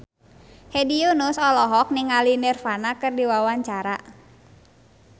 Hedi Yunus olohok ningali Nirvana keur diwawancara